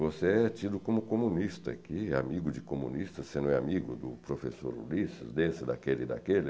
Você é tido como comunista aqui, amigo de comunistas, você não é amigo do professor Ulisses, desse, daquele e daquele?